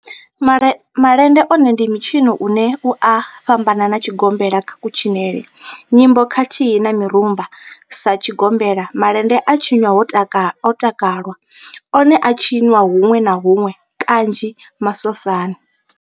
Malende one ndi mitshino une u a fhambana na tshigombela kha kutshinele, nyimbo khathihi na mirumba, Sa tshigombela, malende a tshinwa ho takalwa, one a a tshiniwa hunwe na hunwe kanzhi masosani.